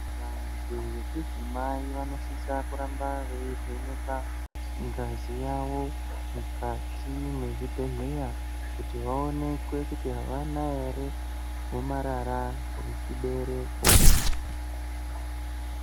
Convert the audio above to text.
Vantu vechidzimai vanosisa kuramba vachivhenekwa ngazi yavo mukati mezvibhehlera kuti vaonekwe kuti havana here gomarara remukati rechibereko.